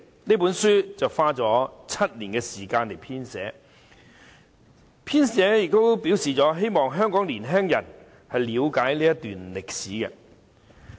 這本書花了7年時間編寫，其編者表示希望香港的年青人了解這段歷史。